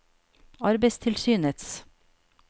arbeidstilsynets